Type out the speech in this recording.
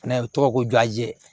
N'a ye u tɔgɔ ko ju a jɛn